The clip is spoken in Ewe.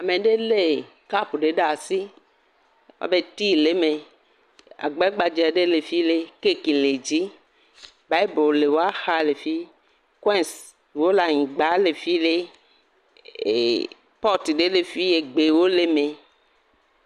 Ame aɖe lé kapu ɖe asi abe tii le eme, abe agbe gbadze le fi le kaki le dzi, bibolu le woaxa le fi, koins wo le anyigba le fi lee ee… potu ɖe le fi gbewo le eme.